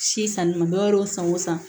Si sanni ma dɔwɛrɛw san o san